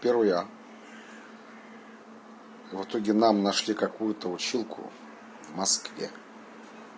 первый-а в итоге нам нашли какую-то училку в москве